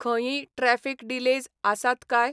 खंयीय traffic delays आसात काय?